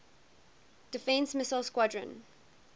defense missile squadron